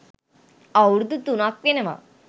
අවුරුදු තුනක් වෙනවා.